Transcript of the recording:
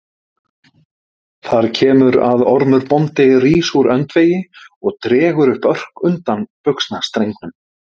Þar kemur að Ormur bóndi rís úr öndvegi og dregur upp örk undan buxnastrengnum.